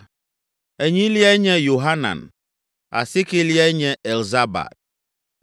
enyiliae nye Yohanan; asiekeliae nye Elzabad;